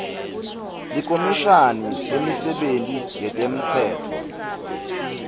likhomishani lemisebenti yetemtsetfo